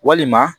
Walima